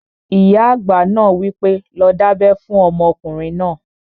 Ìyá àgbà náà wí pé, 'lọ dábẹ́ fún ọmọkùnrin náà!"